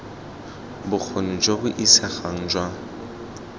bokgoni jo bo isegang jwa